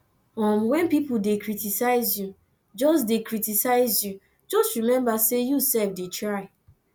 um wen pipo dey criticize you just criticize you just remember sey you self dey try